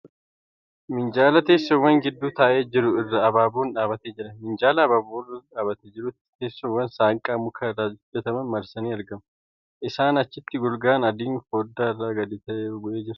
Minjaala teessoowwan gidduu taa'ee jiru irra abaaboon dhaabbatee jira. Minjaala abaaboon irra dhaabbatee jirutti teessoowwan saanqaa mukaa irraa hojjataman marsanii argamu. Isaa achitti golgaa adiin foddaa irra gadi bu'ee jira.